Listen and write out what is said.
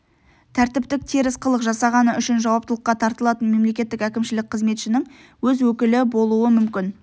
тәртіптік теріс қылық жасағаны үшін жауаптылыққа тартылатын мемлекеттік әкімшілік қызметшінің өз өкілі болуы мүмкін